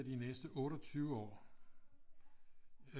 De næste 28 år at